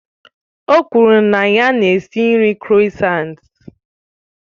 O kwuru na ya na-esi nri kroissants